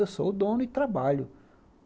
Eu sou o dono e trabalho.